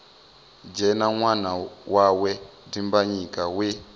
dzhena ṅwana wawe dimbanyika we